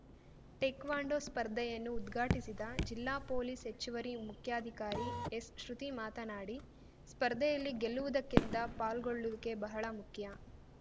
taekwondo ಸ್ಪರ್ಧೆಯನ್ನು ಉದ್ಘಾಟಿಸಿದ ಜಿಲ್ಲಾ ಪೊಲೀಸ್‌ ಹೆಚ್ಚುವರಿ ಮುಖ್ಯಾಧಿಕಾರಿ ಎಸ್‌ಶೃತಿ ಮಾತನಾಡಿ ಸ್ಪರ್ಧೆಯಲ್ಲಿ ಗೆಲ್ಲುವುದಕ್ಕಿಂತ ಪಾಲ್ಗೊಳ್ಳುವಿಕೆ ಬಹಳ ಮುಖ್ಯ